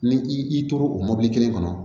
Ni i tora o mɔbili kelen kɔnɔ